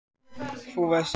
þú veist APPELSÍNA!